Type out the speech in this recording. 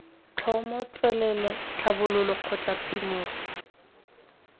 tlhomo tswelelo tlhabololo kgotsa phimolo